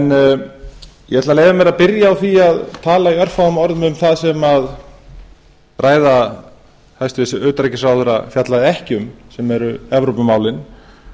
ætla að leyfa mér að byrja á því að tala í örfáum orðum um það sem ræða hæstvirts utanríkisráðherra fjallaði ekki um sem eru evrópumálin